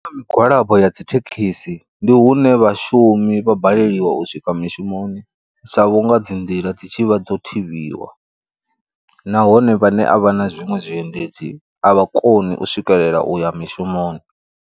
Migwalabo ya dzithekhisi ndi hune vhashumi vha baleliwa u swika mishumoni sa vhunga dzi nḓila dzi tshivha dzo thivhiwa, nahone vhane a vha na zwiṅwe zwiendedzi a vha koni u swikelela uya mishumoni.